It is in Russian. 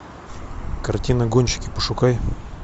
картина гонщики пошукай